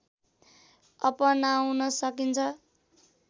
अपनाउन सकिन्छ